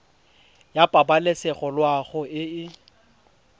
ya pabalesego loago e e